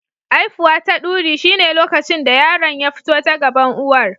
Aifuwa ta duri shine lokacin da yaron ya fito ta gaban uwar.